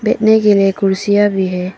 बैठने के लिए कुर्सियां भी है।